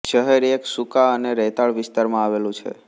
શહેર એક સૂકા અને રેતાળ વિસ્તારમાં આવેલું છે